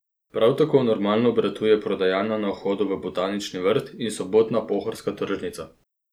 Prav tako normalno obratuje prodajalna na vhodu v botanični vrt in sobotna Pohorska tržnica.